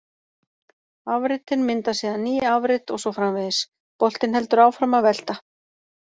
Afritin mynda síðan ný afrit og svo framvegis: Boltinn heldur áfram að velta.